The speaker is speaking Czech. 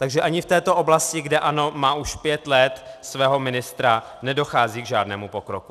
Takže ani v této oblasti, kde ANO má už pět let svého ministra, nedochází k žádnému pokroku.